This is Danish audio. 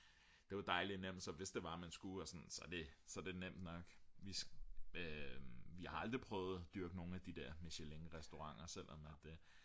det er jo dejligt nemt så hvis det var man skulle så er det nemt nok vi har aldrig prøvet at dyrke nogle af de der michelinrestauranter selvom at det